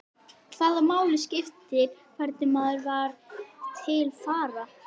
Hvaða máli skipti hvernig maður var til fara?